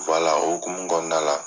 o hokumu kɔnɔna la